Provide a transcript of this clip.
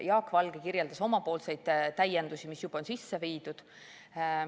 Jaak Valge kirjeldas oma täiendusi, mis on juba sisse viidud.